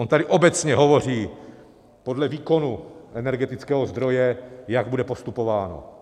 On tady obecně hovoří podle výkonu energetického zdroje, jak bude postupováno.